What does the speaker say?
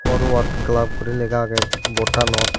forward club guri lega age board anot.